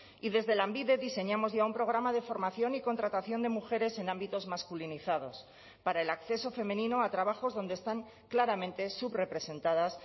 y desde lanbide diseñamos ya un programa de formación y contratación de mujeres en ámbitos masculinizados para el acceso femenino a trabajos donde están claramente subrepresentadas